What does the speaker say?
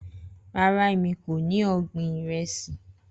Rara Emi ko ni ọgbin iresi.